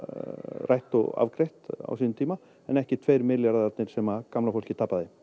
rætt og afgreitt á sínum tíma en ekki tveir milljarðarnir sem gamla fólkið tapaði